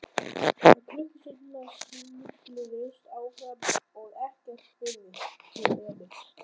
En klukkustundirnar snigluðust áfram og ekkert spurðist til Emils.